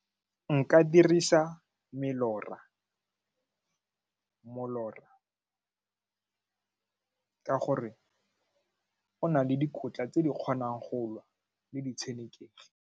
Nka dirisa molora ka gore o na le dikotla tse di kgonang go lwa le di tshenekegi.